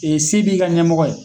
se b'i ka ɲɛmɔgɔ ye